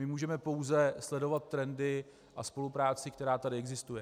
My můžeme pouze sledovat trendy a spolupráci, která tady existuje.